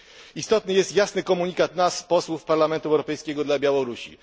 Istotny jest jasny komunikat nas, posłów Parlamentu Europejskiego, dla Białorusi.